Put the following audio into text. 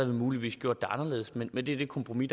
vi muligvis gjort det anderledes men men det er det kompromis